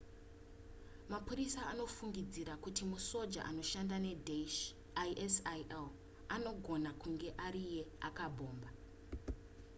mapurisa anofungidzira kuti musoja anoshanda nedaesh isil anogona kunge ariye akabhomba